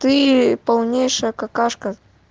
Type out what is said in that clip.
ты полнейшая какашка